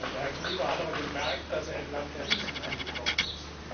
Herr Gulliver hat aber gemerkt, dass er im Land der Riesen angekommen ist.